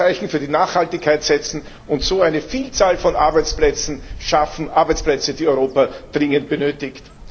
Wir könnten ein Zeichen für die Nachhaltigkeit setzen und so eine Vielzahl von Arbeitsplätzen schaffen Arbeitsplätze, die Europa dringend benötigt.